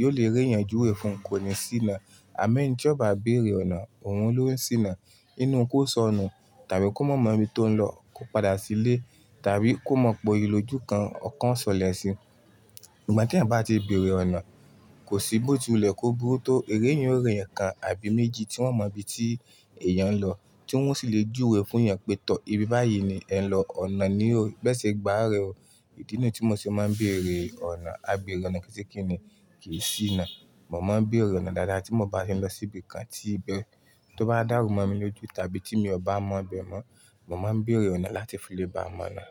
yiò lè rí ẹeyan juwe fún kò ní ṣíná. À mọ́ ẹni tí ọ̀ ba lè béèrè ọ̀nà òun ló ń ṣíná. Nínú kó sọnù tàbí kó má mọ ibi tó ń lọ, kò padà sílé tàbí kó mọ̀ poyii lójú kan ọkàn o selẹ̀ sì. Nígbà tí ẹeyan bá ti bèèrè ọ̀nà, kò sí bó ti wulẹ̀ kó burú tó eeyan o ri ẹ̀yàn kan àbí méjì tí wọ́n o mọ ibi tí èèyàn ń lọ tí wọ́n sì lè juuwe fún ẹeyan pé "Tọ́ ibi báyìí ni ẹ ń lọ, ọ̀nà ni ó, bi e se gba à rẹ o". Idí nìyii tí mò ṣe máa ń bèèrè ọ̀nà. "A bèèrè ọ̀nà kí ṣí kíni kìí ṣíná". Mò máa ń bèèrè ọ̀nà dáadáa tí mò bá ni lọ sí ibi kan tí- tó bá dàrú mọ́ mi lójú tàbí tí mi ò bá mọ bẹ̀ mọ́, mò máa ń bèèrè ọ̀nà láti fi lè bá mọ̀ ọ̀nà.